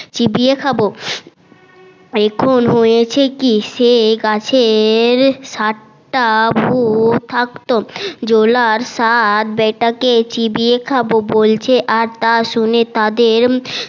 চিবিয়ে খাবো এখন হয়েছে কি সে গাছে সাতটা ভুত থাকতো জোলার সাত বেটা কে চিপিয়ে খাবো বলছে আর তা শুনে তাদের